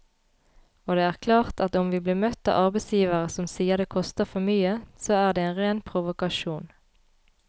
Og det er klart at om vi blir møtt av arbeidsgivere som sier det koster for mye, så er det en ren provokasjon.